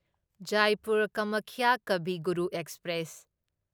Jaipur Kamakhya Kavi Guru express